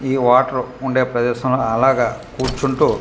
ఈ వాటర్ ఉండే ప్రదేశం అలాగా కూర్చుంటూ.